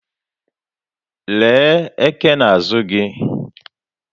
Lee eke n'azụ gị!